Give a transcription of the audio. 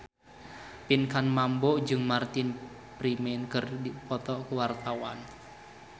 Pinkan Mambo jeung Martin Freeman keur dipoto ku wartawan